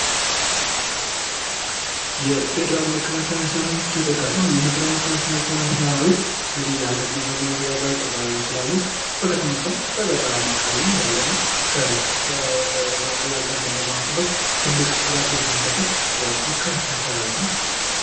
የፌዴራል መከላከያ ሰራዊት ተጠቃሽ ነዉ። ይህ የፌዴራል መከላከያ ሰራዊት የአገርን ዳር ድንበር በመጠበቅ በተለያዩ በከተሞች ሳይሆን በገጠማ የአገር ድንበርን ለማስጠበቅ ትልቅ ተጋድሎ የሚከፍል ትልቅ መከላከያ ሰራዊት ነዉ።